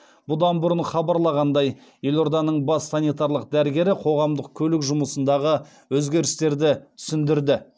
бұдан бұрын хабарланғандай елорданың бас санитарлық дәрігері қоғамдық көлік жұмысындағы өзгерістерді түсіндірді